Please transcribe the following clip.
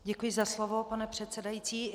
Děkuji za slovo, pane předsedající.